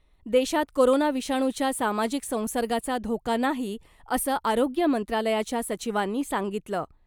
देशात कोरोना विषाणूच्या सामाजिक संसर्गाचा धोका नाही , असं आरोग्य मंत्रालयाच्या सचिवांनी सांगितलं .